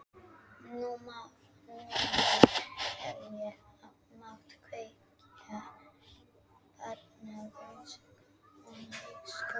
Núna hefði ég mátt kveðja, barnlaus kona í skógi.